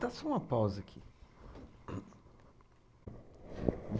Dá só uma pausa aqui.